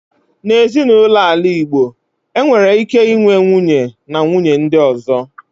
Na Ezinụlọ ala Igbo, enwere ike inwe nwunye, na nwunye ndi ozo.